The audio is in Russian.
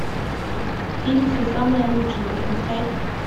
фильм все самое лучшее запускай